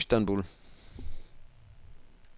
Istanbul